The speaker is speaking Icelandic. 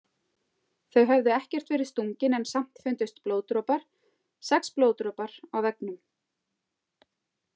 Þau höfðu ekkert verið stungin en samt fundust blóðdropar, sex blóðdropar, á veggnum.